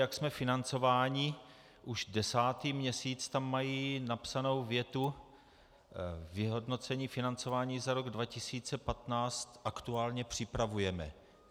Jak jsme financováni už desátý měsíc tam mají napsanou větu: Vyhodnocení financování za rok 2015 aktuálně připravujeme.